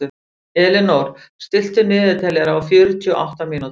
Elínór, stilltu niðurteljara á fjörutíu og átta mínútur.